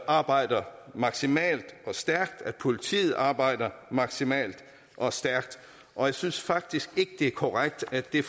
arbejder maksimalt og stærkt at politiet arbejder maksimalt og stærkt og jeg synes faktisk ikke det er korrekt at det